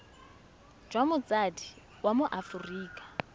jwa motsadi wa mo aforika